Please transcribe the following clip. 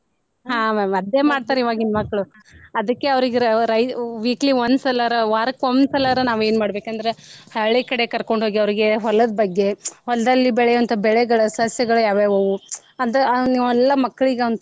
ಹಾ ma'am ಅದೇ ಮಾಡ್ತಾರ ಇವಾಗಿನ ಮಕ್ಳು ಅದ್ಕೆ ಅವ್ರಿಗೆ ರ ರ weekly ಒಂದ ಸಲಾರ ವಾರಕ್ಕೊಂದ ಸಲಾರ ನಾವ ಏನ ಮಾಡ್ಬೇಕ ಅಂದ್ರ ಹಳ್ಳಿ ಕಡೆ ಕರ್ಕೊಂಡ ಹೋಗಿ ಅವ್ರಿಗೆ ಹೊಲದ ಬಗ್ಗೆ ಹೊಲದಲ್ಲಿ ಬೆಳೆಯುವಂತ ಬೆಳೆಗಳ ಸಸ್ಯಗಳ ಯಾವ್ಯಾವ ಅವು ಅದ ಮಕ್ಳಿಗೆ ಅವ್ನ.